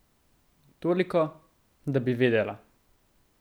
Toliko, da bi vedela.